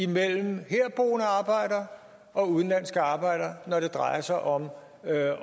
mellem herboende arbejdere og udenlandske arbejdere når det drejer sig om